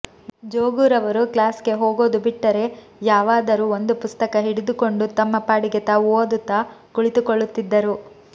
ಜೋಗುರರವರು ಕ್ಲಾಸ್ಗೆ ಹೋಗೋದು ಬಿಟ್ಟರೆ ಯಾವಾದರೂ ಒಂದು ಪುಸ್ತಕ ಹಿಡಿದುಕೊಂಡು ತಮ್ಮ ಪಾಡಿಗೆ ತಾವು ಓದುತ್ತಾ ಕುಳಿತುಕೊಳ್ಳುತ್ತಿದ್ದರು